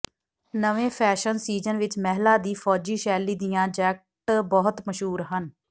ਨਵੇਂ fashion season ਵਿਚ ਮਹਿਲਾ ਦੀ ਫੌਜੀ ਸ਼ੈਲੀ ਦੀਆਂ ਜੈਕਟ ਬਹੁਤ ਮਸ਼ਹੂਰ ਹਨ